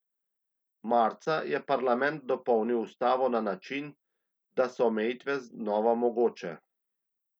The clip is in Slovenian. Marca je parlament dopolnil ustavo na način, da so omejitve znova mogoče.